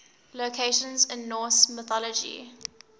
locations in norse mythology